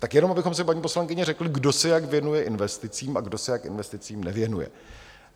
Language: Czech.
Tak jenom abychom si, paní poslankyně, řekli, kdo se jak věnuje investicím a kdo se jak investicím nevěnuje.